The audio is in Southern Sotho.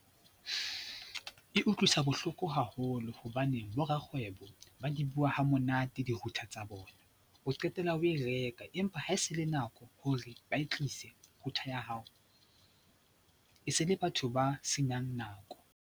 E utlwisa bohloko haholo hobane borakgwebo ba di bua hamonate di-router tsa bona, o qetella o e reka empa ha e se le nako hore ba e tlise router ya hao, e se le batho ba senang nako.